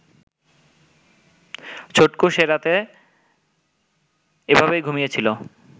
ছটকু সেরাতে এভাবেই ঘুমিয়েছিল